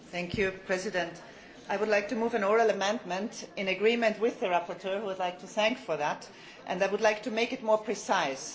Mr President, I would like to move an oral amendment in agreement with the rapporteur, whom I would like to thank for that, and I would like to make it more precise.